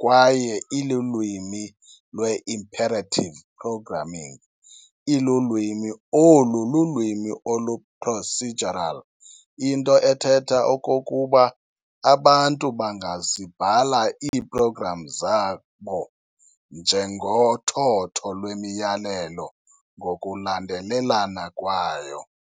kwaye ilulwimi lwe-imperative programming. Ilulwimi olu lulwimi olu-procedural, into ethetha okokuba abantu bangazibhala ii-programs zabo njengothotho lwemiyalelo ngokulandelelana kwayo.